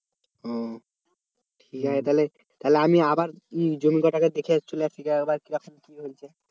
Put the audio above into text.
ও আচ্ছা তাহলে তাহলে আমি আবার জমিটা একবার দেখে চলে আসি আবার কি রকম কি বলছে।